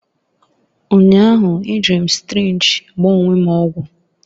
Ụnyahụ, ejiri m sirinji gbaa onwe m ọgwụ.